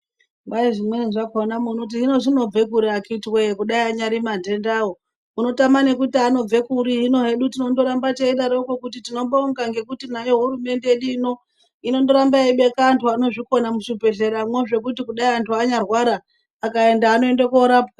Kwai zvimweni zvakona munoti zvinobvepiko akiti woye dai anyari mandendawo unotame nekuti anobve kuri ,hino anode kundoramba teidaroko kuti tinobonga nayo hurumende yedu inondoramba yaibeka antu anozvikona muzvibhedhleramwo zvekuti dai antu anyarwara akaenda anoenda korapwa.